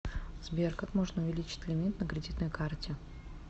сбер как можно увеличить лимит на кредитной карте